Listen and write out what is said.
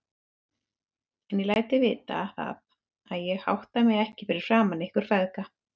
En ég læt þig vita það, að ég hátta mig ekki fyrir framan ykkur feðga.